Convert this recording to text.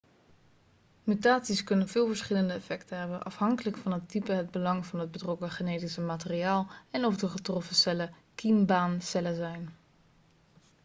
mutaties kunnen veel verschillende effecten hebben afhankelijk van het type het belang van het betrokken genetische materiaal en of de getroffen cellen kiembaancellen zijn